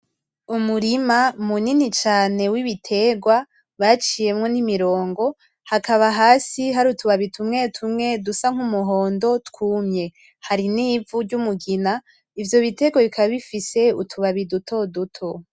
Umurima munini cane w'ibitegwa baciyemo nimirongo hakaba hasi hari utubabi tumwe tumwe dusa nkumuhondo twumye harinivu ry'umugina ivyo bitegwa bikaba bifise utubabi dutoduto.